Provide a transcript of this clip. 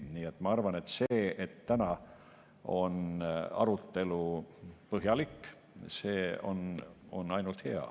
Nii et ma arvan, et see, et täna on arutelu põhjalik, on ainult hea.